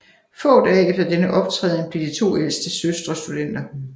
Få dage efter denne optræden blev de to ældste søstre studenter